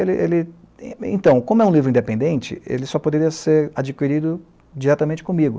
Ele, ele... E então, como é um livro independente, ele só poderia ser adquirido diretamente comigo.